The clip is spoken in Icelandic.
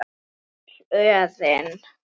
Öll örin.